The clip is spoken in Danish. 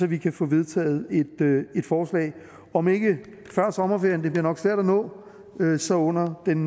vi kan få vedtaget et forslag om ikke før sommerferien det bliver nok svært at nå så under den